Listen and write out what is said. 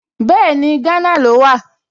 Bẹ́ẹ̀ni, Gánà ló wà